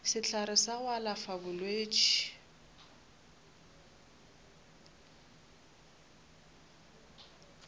sehlare sa go alafa bolwetši